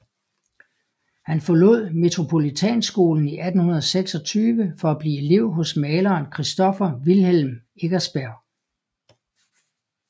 Han forlod Metropolitanskolen i 1826 for at blive elev hos maleren Christoffer Wilhelm Eckersberg